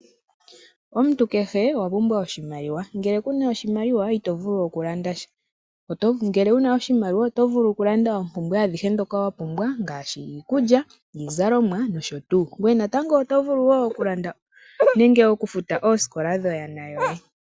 Omuntu kehe owa pumbwa oshimaliwa ngele kuna oshimaliwa iitovulu okulandasha ngele wuna oshimaliwa oto vulu oku landa oompumbwe ndhoka wa pumbwa ngashi iikulya ,iizalomwa nosho tuu. Ngwe natango oto vulu wo okulanda nenge okufuta oosikola dho yaana yoye.